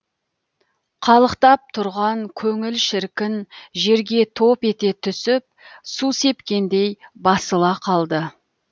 қалықтап тұрған көңіл шіркін жерге топ ете түсіп су сепкендей басыла қалды